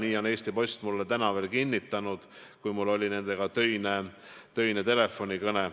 Seda on Eesti Post mulle täna kinnitanud, mul oli nendega töine telefonikõne.